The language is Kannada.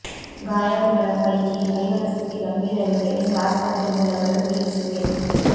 ಗಾಯಾಳುಗಳ ಪೈಕಿ ಐವರ ಸ್ಥಿತಿ ಗಂಭೀರವಿದೆ ಎಂದು ಆಸ್ಪತ್ರೆ ಮೂಲಗಳು ತಿಳಿಸಿವೆ